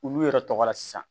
Olu yɛrɛ tɔgɔ la sisan